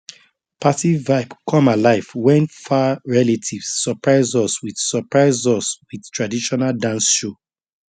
party vibe come alive when far relatives surprise us with surprise us with traditional dance show